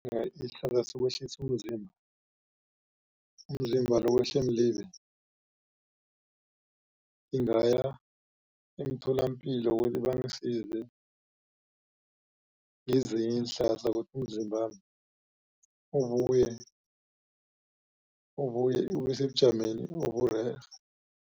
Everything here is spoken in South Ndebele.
isihlahla sokwehlisa umzimba umzimba lo wehle mlibe ngingaya emtholapilo ukuthi bangisize ngezinye iinhlahla ukuthi umzimbami ubuye ubuye ubesebujameni oburerhe.